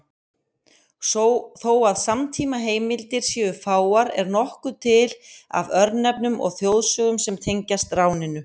Þó að samtímaheimildir séu fáar er nokkuð til af örnefnum og þjóðsögum sem tengjast ráninu.